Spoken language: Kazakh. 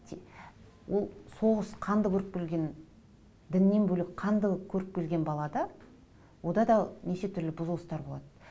ол соғыс қанды көріп келген діннен бөлек қанды көріп келген балада онда да неше түрлі бұзылыстар болады